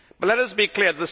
But let us be clear.